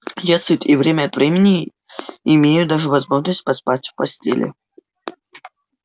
я сыт и время от времени имею даже возможность поспать в постели